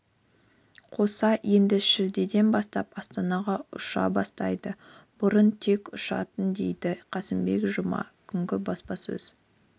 қоса енді шілдеден бастап астанаға ұша бастайды бұрын тек ұшатын деді қасымбек жұма күнгі баспасөз